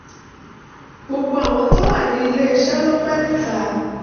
gbogbo àwọn tó wà ní ilé iṣẹ́ ló pẹ́ níta